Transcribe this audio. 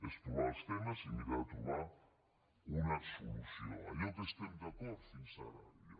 és provar els temes i mirar de trobar una solució allò en què estem d’acord fins ara ja